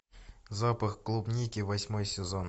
запах клубники восьмой сезон